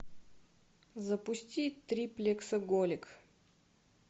запусти триплексоголик